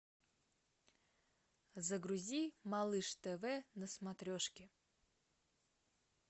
загрузи малыш тв на смотрешке